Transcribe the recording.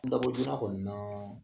Nbato duna kɔni naa